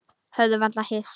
Höfðum varla hist.